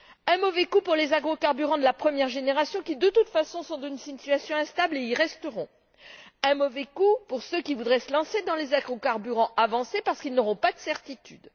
Un mauvais coup pour les agrocarburants de la première génération qui, de toute façon, sont dans une situation instable et y resteront. Un mauvais coup pour ceux qui voudraient se lancer dans les agrocarburants avancés parce qu'ils n'auront pas de certitude.